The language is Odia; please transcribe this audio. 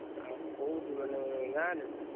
ଆଉ କୋଉଠି ମାନେ ଗାଁରେ ନା?